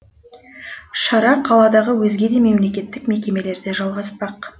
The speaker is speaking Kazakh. шара қаладағы өзге де мемлекеттік мекемелерде жалғаспақ